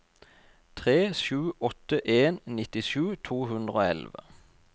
tre sju åtte en nittisju to hundre og elleve